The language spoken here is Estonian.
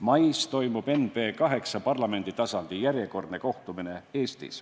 Mais toimub Eestis NB 8 parlamenditasandi järjekordne kohtumine.